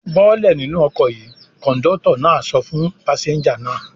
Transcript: "Bọ́lẹ̀ nínú ọkọ̀ yìí!" Kọ̀ńdọ́tọ̀ náà sọ fún pásẹ́ńjà náà.